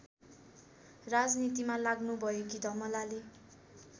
राजनीतिमा लाग्नुभएकी धमलाले